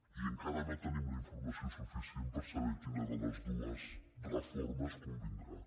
i encara no tenim la informació suficient per saber quina de les dues reformes convindrà